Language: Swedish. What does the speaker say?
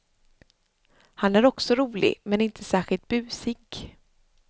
Han är också rolig men inte särskilt busig.